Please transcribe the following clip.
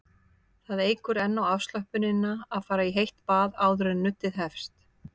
Það eykur enn á afslöppunina að fara í heitt bað áður en nuddið hefst.